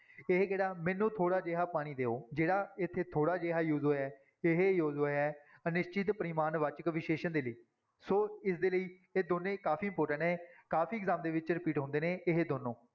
ਇਹ ਕਿਹੜਾ ਮੈਨੂੰ ਥੋੜ੍ਹਾ ਜਿਹਾ ਪਾਣੀ ਦਿਓ ਜਿਹੜਾ ਇੱਥੇ ਥੋੜ੍ਹਾ ਜਿਹਾ use ਹੋਇਆ ਹੈ, ਇਹ use ਹੋਇਆ ਹੈ ਅਨਿਸ਼ਚਿਤ ਪਰਿਮਾਣਵਾਚਕ ਵਿਸ਼ੇਸ਼ਣ ਦੇ ਲਈ, ਸੋ ਇਸਦੇ ਲਈ ਇਹ ਦੋਨੇਂ ਕਾਫ਼ੀ important ਹੈ, ਕਾਫ਼ੀ exam ਦੇ ਵਿੱਚ repeat ਹੁੰਦੇ ਨੇ ਇਹ ਦੋਨੋਂ।